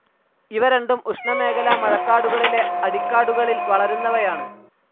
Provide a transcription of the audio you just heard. ഇവ രണ്ടും ഉഷ്ണമേഖലാ മഴക്കാടുകളിലെ അടിക്കാടുകളിൽ വളരുന്നവയാണ്.